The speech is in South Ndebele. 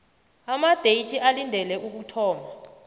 amadeyithi olindele ukuthoma